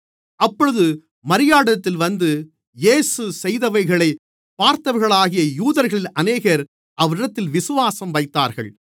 அப்பொழுது மரியாளிடத்தில் வந்து இயேசு செய்தவைகளைப் பார்த்தவர்களாகிய யூதர்களில் அநேகர் அவரிடத்தில் விசுவாசம் வைத்தார்கள்